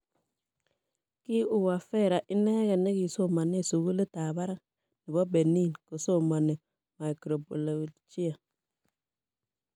Ki Uwavera inegei ne kisomane sugulit ab barak nebo Benin kosomani microbiolijia